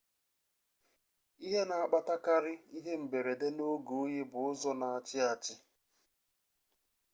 ihe na akpatakarị ihe mberede n'oge oyi bụ ụzọ n'achị achị